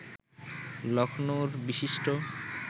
লক্ষ্ণৌর বিশিষ্ট